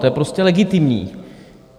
To je prostě legitimní.